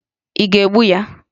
Ị ga-egbu ya?